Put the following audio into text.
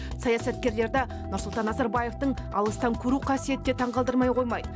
саясаткерлерді нұрсұлтан назарбаевтың алыстан көру қасиеті де таңғалдырмай қоймайды